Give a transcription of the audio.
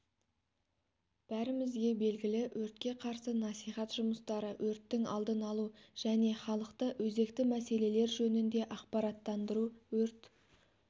бәрімізге белгілі өртке қарсы насихат жұмыстары өрттің алдын алу және халықты өзекті мәселелер жөнінде ақпараттандыру өрт